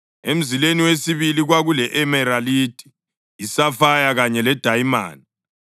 emzileni wesibili kwakule-emeralidi, isafaya kanye ledayimana;